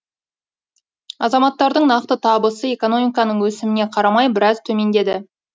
азаматтардың нақты табысы экономиканың өсіміне қарамай біраз төмендеді